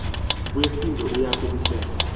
wesizwe uya kumisela